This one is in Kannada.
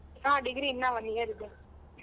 ಹಾ degree ಇನ್ನ one year ಇದೆ.